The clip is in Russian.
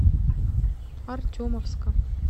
артемовска